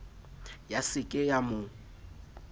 ya se ke ya mo